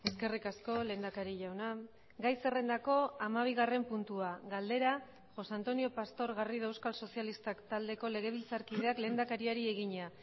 eskerrik asko lehendakari jauna gai zerrendako hamabigarren puntua galdera josé antonio pastor garrido euskal sozialistak taldeko legebiltzarkideak lehendakariari egina